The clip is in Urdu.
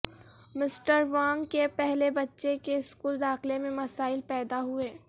مسٹر وانگ کے پہلے بچے کے سکول داخلے میں مسائل پیدا ہوئے